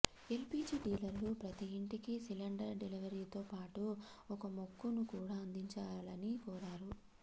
LPG డీలర్లు ప్రతిఇంటికి cylinder డెలివరీతోపాటు ఒక మొక్కను కూడా అందించాలని కోరారు